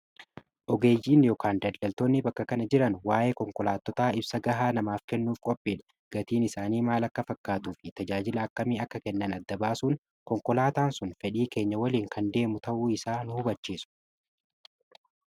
Ogeeyyiin yookaan daldaltoonni bakka kana jiran waa'ee konkolaatotaa ibsa gahaa namaaf kennuuf qophiidha gatiin isaanii maal akka fakkaatuu fi tajaajila akkamii akka kennan adda baasuun konkolaataan sun fedhii keenya waliin kan deemu ta'uu isaa nuu hubachiisu.